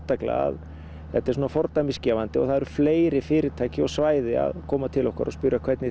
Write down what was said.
þetta er fordæmisgefandi það eru fleiri fyrirtæki og svæði að koma til okkar og spyrja hvernig